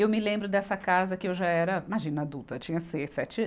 Eu me lembro dessa casa que eu já era, imagina adulta, tinha seis, sete